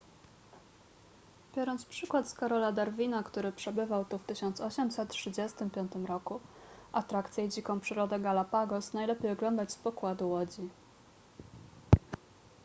biorąc przykład z karola darwina który przebywał tu w 1835 roku atrakcje i dziką przyrodę galapagos najlepiej oglądać z pokładu łodzi